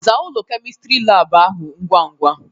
"Zaa ụlọ Kemịstri laabụ ahụ ngwa ngwa!"